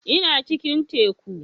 Ina cikin teku